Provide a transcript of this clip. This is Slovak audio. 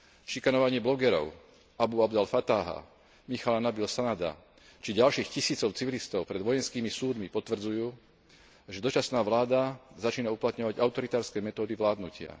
Šikanovanie blogerov Alú Abdulfatáha, Michaela Nabíla Sanada či ďalších tisícov civilistov pred vojenskými súdmi potvrdzujú, že dočasná vláda začína uplatňovať autoritárske metódy vládnutia.